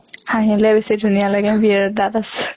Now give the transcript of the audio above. হাহিলে বেছি ধুনীয়া লাগে দাঁত আছে।